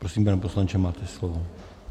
Prosím, pane poslanče, máte slovo.